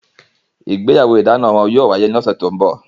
Ìgbéyàwó idana wọn yóò wáyé ní ọ̀sẹ̀ tó ń bọ̀